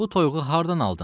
Bu toyuğu hardan aldın?